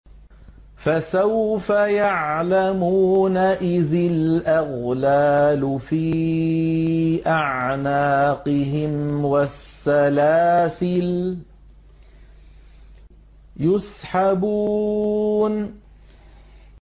إِذِ الْأَغْلَالُ فِي أَعْنَاقِهِمْ وَالسَّلَاسِلُ يُسْحَبُونَ